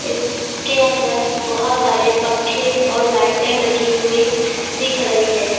इसके अंदर बहुत सारे पंखे और लाइटें लगी हुई दिख रही है।